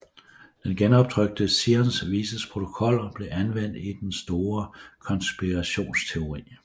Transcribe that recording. De genoptrykte Zions Vises Protokoller blev anvendt i den store konspirationsteori